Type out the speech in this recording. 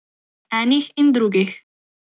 Enih in drugih.